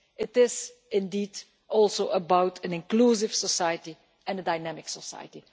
It is also about an inclusive society and a dynamic society.